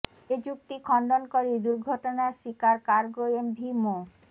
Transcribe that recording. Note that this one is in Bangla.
এ যুক্তি খণ্ডন করে দুর্ঘটনার শিকার কার্গো এমভি মো